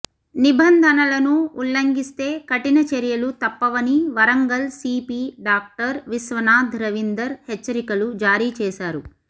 నిబంధనలను ఉల్లంఘిస్తే కఠిన చర్యలు తప్పవని వరంగల్ సీపీ డాక్టర్ విశ్వనాథ్ రవిందర్ హెచ్చరికలు జారీ చేశారు